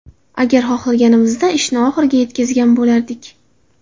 Agar xohlaganimizda ishni oxiriga yetkazgan bo‘lardik”.